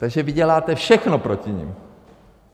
Takže vy děláte všechno proti nim.